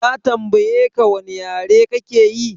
Ya tambayeka wane yare kake yi?